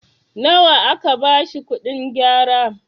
nawa aka bashi kuɗin gyara?